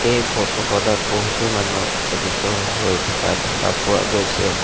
এই ফটো খনত বহুতো মানুহ একত্ৰিত হৈ থকা দেখা পোৱা গৈছে।